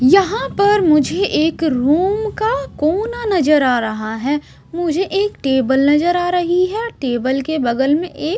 यहां पर मुझे एक रूम का कोना नजर आ रहा है मुझे एक टेबल नजर आ रही है टेबल के बगल में एक--